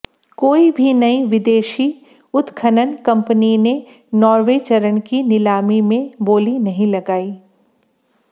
कोई भी नई विदेशी उत्खनन कंपनी ने नौवें चरण की नीलामी में बोली नहीं लगाई